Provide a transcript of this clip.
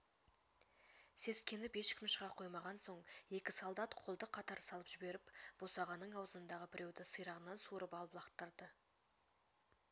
сескеніп ешкім шыға қоймаған соң екі солдат қолды қатар салып жіберіп босағаның аузындағы біреуді сирағынан суырып алып лақтырып